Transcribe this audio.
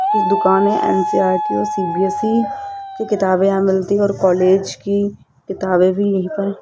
इस दुकान में एन_सी_ई_आर_टी और सी_बी_एस_ई की किताब यहां मिलती है और कॉलेज की किताबे भी यहीं पर --